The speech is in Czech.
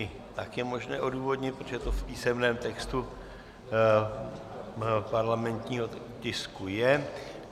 I tak je možné odůvodnit, protože to v písemném textu parlamentního tisku je.